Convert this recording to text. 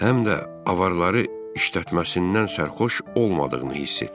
Həm də avaları işlətməsindən sərxoş olmadığını hiss etdim.